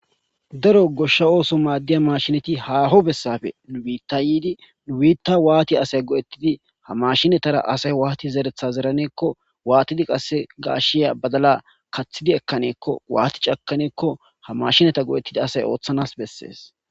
Daro goshsha ooso maaddiya mashinati haaho bessafe nu biitta yiidi nu biitta waati asay go'ettidi ha mashinatara asay waati zeretha zeraneekko waatidi qasse gaashshiya badala kaththidi ekkaneekko waaticakaneekko ha mashinata go'ettidi asay ooththanas bessees.